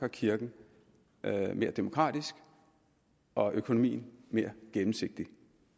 kirken mere demokratisk og økonomien mere gennemsigtig